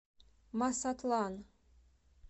масатлан